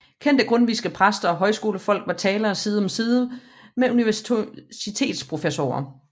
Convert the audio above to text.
Kendte grundtvigske præster og højskolefolk var talere side om side med universitetsprofessorer